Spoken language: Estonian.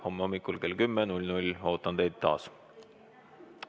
Homme hommikul kell 10 ootan teid taas.